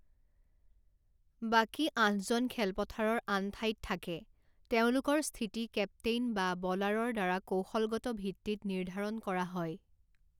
বাকী আঠজন খেলপথাৰৰ আন ঠাইত থাকে, তেওঁলোকৰ স্থিতি কেপ্টেইন বা ব'লাৰৰ দ্বাৰা কৌশলগত ভিত্তিত নিৰ্ধাৰণ কৰা হয়।